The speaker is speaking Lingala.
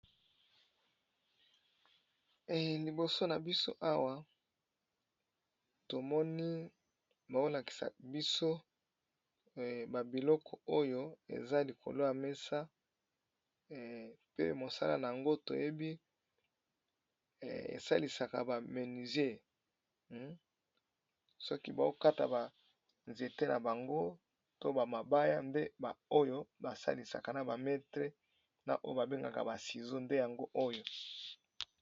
Liboso na biso awa tomoni baolakisa biso ba biloko oyo eza likolo ya mesa pe mosala na yango toyebi esalisaka ba menusier soki baokata ba nzete na bango to ba mabaya nde oyo ba salisaka na ba metre na oyo ba bengaka ba sizo nde yango oyo.